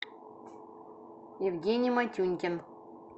евгений матюнькин